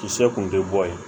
Kisɛ kun tɛ bɔ yen